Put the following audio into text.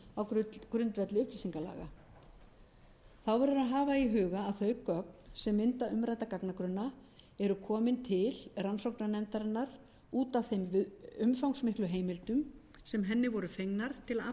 á grundvelli upplýsingalaga þá verður að hafa í huga að þau gögn sem mynda umrædda gagnagrunna eru komin til rannsóknarnefndarinnar út af þeim umfangsmiklu heimildum sem henni voru fengnar til að afla